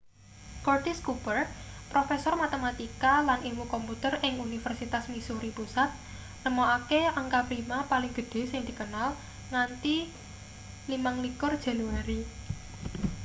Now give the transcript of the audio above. curtis cooper profesor matematika lan ilmu komputer ing universitas missouri pusat nemokake angka prima paling gedhe sing dikenal nganti 25 januari